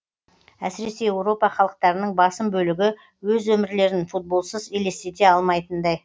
әсіресе еуропа халықтарының басым бөлігі өз өмірлерін футболсыз елестете алмайтындай